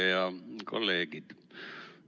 Head kolleegid!